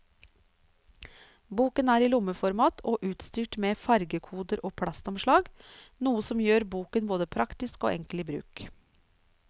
Boken er i lommeformat og utstyrt med fargekoder og plastomslag, noe som gjør boken både praktisk og enkel i bruk.